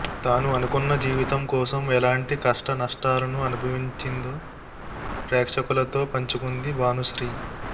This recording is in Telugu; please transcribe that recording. తాను అనుకున్న జీవితం కోసం ఎలాంటి కష్ట నష్టాలను అనుభవించిందో ప్రేక్షకులతో పంచుకుంది భానుశ్రీ